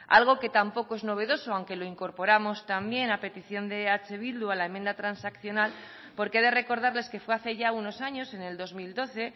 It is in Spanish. algo que tampoco es novedoso aunque lo incorporamos también a petición de eh bildu a la enmienda transaccional porque he de recordarles que fue hace ya unos años en el dos mil doce